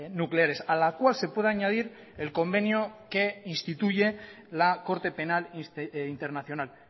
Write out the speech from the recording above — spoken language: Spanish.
nucleares a la cual se puede añadir el convenio que instituye la corte penal internacional